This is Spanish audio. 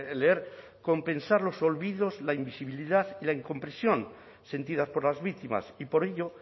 leer compensar los olvidos la invisibilidad y la incomprensión sentidas por las víctimas y por ello